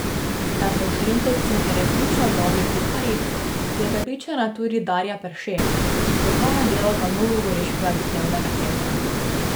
Da so šentovci resnično dobri kuharji, je prepričana tudi Darja Perše, strokovna delavka novogoriškega dnevnega centra.